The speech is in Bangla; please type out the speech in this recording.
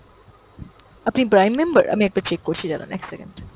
আপনি prime member? আমি একবার check করছি দাড়ান, এক second।